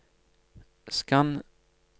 skann